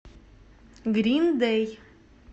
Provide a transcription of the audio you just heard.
грин дей